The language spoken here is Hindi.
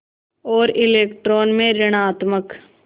और इलेक्ट्रॉन में ॠणात्मक